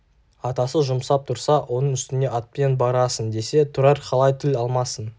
атасы жұмсап тұрса оның үстіне атпен барасың десе тұрар қалай тіл алмасын